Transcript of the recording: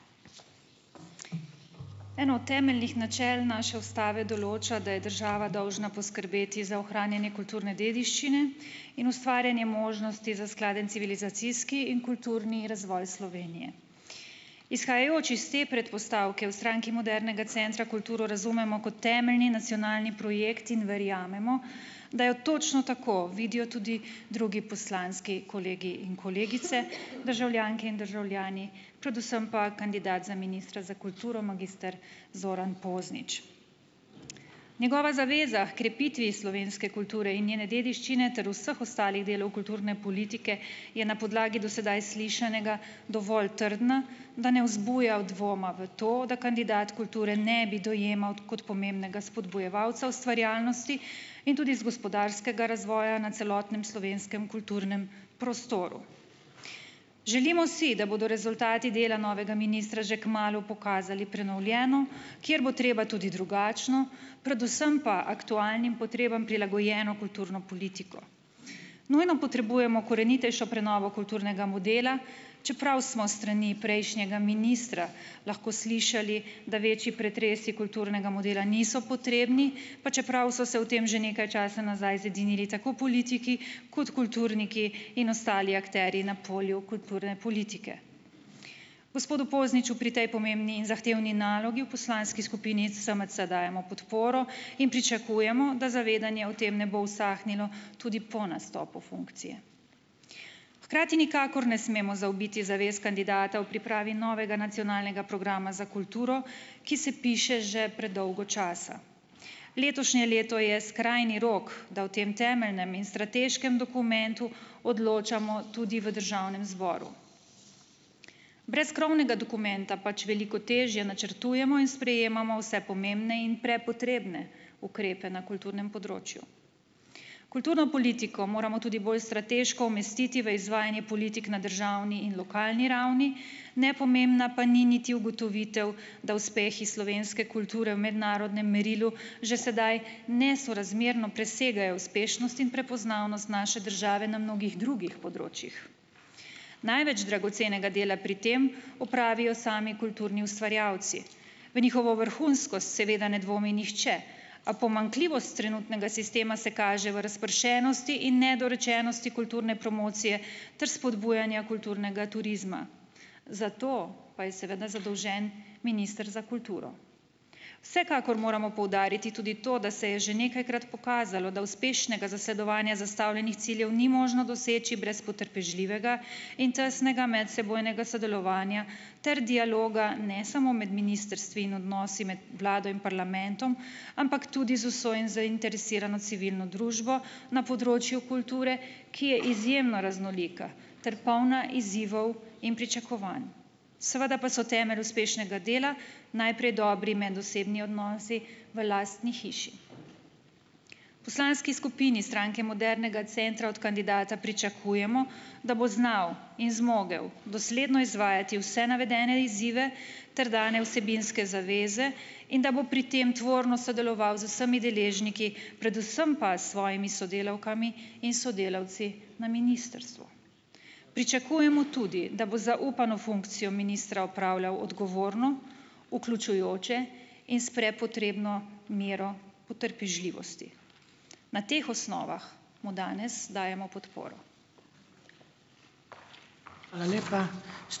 Eno od temeljnih načel naše ustave določa, da je država dolžna poskrbeti za ohranjanje kulturne dediščine in ustvarjanje možnosti za skladen civilizacijski in kulturni razvoj Slovenije. Izhajajoč iz te predpostavke v Stranki modernega centra kulturo razumemo kot temeljni nacionalni projekt in verjamemo, da jo točno tako vidijo tudi drugi poslanski kolegi in kolegice, državljanke in državljani, predvsem pa kandidat za ministra za kulturo magister Zoran Poznič. Njegova zaveza h krepitvi slovenske kulture in njene dediščine ter vseh ostalih delov kulturne politike je na podlagi do sedaj slišanega dovolj trdna, da ne vzbuja v dvoma v to, da kandidat kulture ne bi dojemal kot pomembnega spodbujevalca ustvarjalnosti in tudi iz gospodarskega razvoja na celotnem slovenskem kulturnem prostoru. Želimo si, da bodo rezultati dela novega ministra že kmalu pokazali prenovljeno, kjer bo treba tudi drugačno, predvsem pa aktualnim potrebam prilagojeno kulturno politiko. Nujno potrebujemo korenitejšo prenovo kulturnega modela, čeprav smo s strani prejšnjega ministra lahko slišali, da večji pretresi kulturnega modela niso potrebni, pa čeprav so se o tem že nekaj časa nazaj zedinili tako politiki kot kulturniki in ostali akterji na polju kulturne politike. Gospodu Pozniču pri tej pomembni in zahtevni nalogi v poslanski skupini SMC dajemo podporo in pričakujemo, da zavedanje o tem ne bo usahnilo tudi po nastopu funkcije. Hkrati nikakor ne smemo zaobiti zavez kandidata v pripravi novega nacionalnega programa za kulturo, ki se piše že predolgo časa. Letošnje leto je skrajni rok, da o tem temeljnem in strateškem dokumentu odločamo tudi v državnem zboru. Brez krovnega dokumenta pač veliko težje načrtujemo in sprejemamo vse pomembne in prepotrebne ukrepe na kulturnem področju. Kulturno politiko moramo tudi bolj strateško umestiti v izvajanje politik na državni in lokalni ravni, nepomembna pa ni niti ugotovitev, da uspeh iz slovenske kulture v mednarodnem merilu že sedaj nesorazmerno presegajo uspešnost in prepoznavnost naše države na mnogih drugih področjih. Največ dragocenega dela pri tem opravijo sami kulturni ustvarjalci. V njihovo vrhunskost seveda ne dvomi nihče, a pomanjkljivost trenutnega sistema se kaže v razpršenosti in nedorečenosti kulturne promocije ter spodbujanja kulturnega turizma, za to pa je seveda zadolžen minister za kulturo. Vsekakor moramo poudariti tudi to, da se je že nekajkrat pokazalo, da uspešnega zasledovanja zastavljenih ciljev ni možno doseči brez potrpežljivega in tesnega medsebojnega sodelovanja ter dialoga ne samo med ministrstvi in odnosi med vlado in parlamentom, ampak tudi z vso zainteresirano civilno družbo na področju kulture, ki je izjemno raznolika ter polna izzivov in pričakovanj. Seveda pa so temelj uspešnega dela najprej dobri medosebni odnosi v lastni hiši. Poslanski skupini Stranke modernega centra od kandidata pričakujemo, da bo znal in zmogel dosledno izvajati vse navedene izzive ter dane vsebinske zaveze in da bo pri tem tvorno sodeloval z vsemi deležniki, predvsem pa s svojimi sodelavkami in sodelavci na ministrstvu. Pričakujemo tudi, da bo zaupano funkcijo ministra opravljal odgovorno, vključujoče in s prepotrebno mero potrpežljivosti. Na teh osnovah mu danes dajemo podporo.